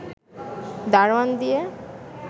দারোয়ান দিয়ে